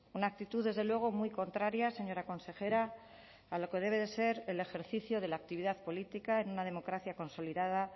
una actitud desde luego muy contraria señora consejera a lo que debe de ser el ejercicio de la actividad política en una democracia consolidada